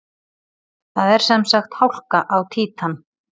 Það er sem sagt hálka á Títan!